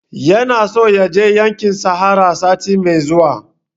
Yana so ya je yankin sahara sati mai zuwa